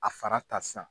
A fara ta sisan